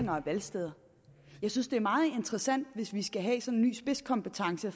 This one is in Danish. af valgsteder jeg synes det er meget interessant hvis vi skal have sådan en ny spidskompetence